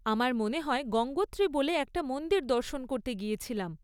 আমার মনে হয় গঙ্গোত্রী বলে একটা মন্দির দর্শন করতে গিয়েছিলাম।